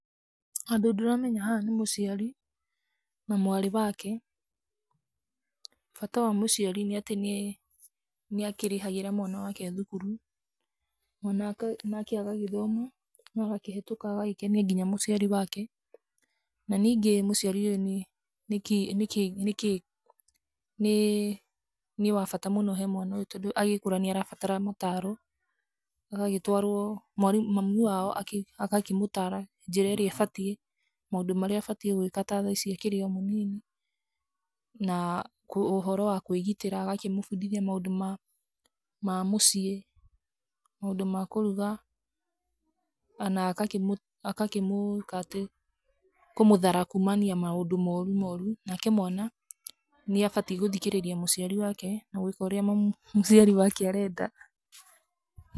Andũ ndĩramenya haha nĩ mũciari na mwarĩ wake. Bata wa mũciari nĩ atĩ nĩ akĩrĩhagĩra mwana wake thukuru. Mwana wake nake agagĩthoma, na agakĩhĩtũka agagĩkenia nginya mũciari wake. Na ningĩ mũciari nĩ kĩĩ nĩ kĩĩ nĩ kĩĩ nĩ wa bata mũno harĩ mwana ũyũ tondũ, agĩkũra nĩ arabatara mataaro, agagĩtwarwo, mwarimũ mami wao agakĩmũtaara njĩra ĩrĩa ĩbatiĩ, maũndũ marĩa abatiĩ gwĩka ta tha ici akĩrĩ o mũnini na ũhoro wa kwĩgitĩra. Agakĩmũbundithia ũhoro wa kwĩgitĩra, agakĩmũbundithia maũndũ ma mũciĩ, maũndũ ma kũruga kana agakĩmũikatĩ, kũmũthara kuumania maũndũ moru moru. Nake mwana nĩ abatiĩ gũthikĩrĩria mũciari wake na gũĩka ũrĩa mũciari wake arenda.